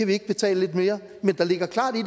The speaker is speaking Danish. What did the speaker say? vi ikke betale lidt mere men der ligger klart i